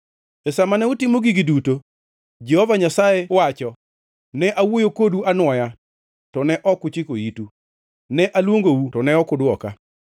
E sa ma ne utimo gigi duto, Jehova Nyasaye wacho, ne awuoyo kodu anwoya, to ne ok uchiko itu; ne aluongou, to ne ok udwoka.